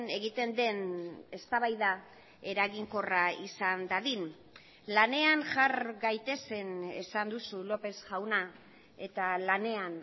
egiten den eztabaida eraginkorra izan dadin lanean jar gaitezen esan duzu lópez jauna eta lanean